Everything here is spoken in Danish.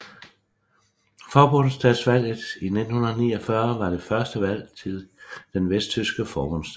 Forbundsdagsvalget 1949 var det første valg til den vesttyske Forbundsdag